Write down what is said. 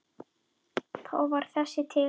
Þá varð þessi til.